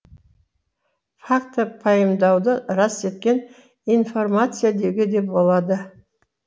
фактті пайымдауды рас еткен информация деуге де болады